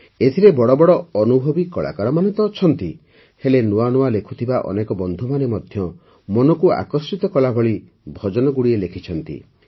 ଏଥିରେ ବଡ଼ ବଡ଼ ଅନୁଭବୀ କଳାକାରମାନେ ତ ଅଛନ୍ତି ହେଲେ ନୂଆ ନୂଆ ଲେଖୁଥିବା ଅନେକ ବନ୍ଧୁମାନେ ମଧ୍ୟ ମନକୁ ଆକର୍ଷିତ କଲାଭଳି ଭଜନଗୁଡ଼ିଏ ଲେଖିଛନ୍ତି